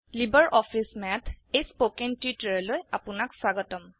LibreOffice Math এই spoken টিউটোৰিয়াললৈ আপোনাক স্বাগতম